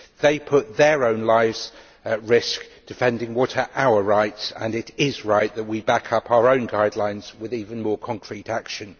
They put their own lives at risk defending what are our rights and it is right that we back up our own guidelines with even more concrete action.